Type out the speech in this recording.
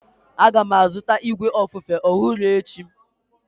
Aga m azụta igwe ofufe ọhụrụ echi.